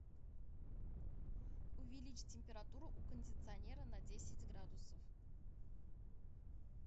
увеличь температуру у кондиционера на десять градусов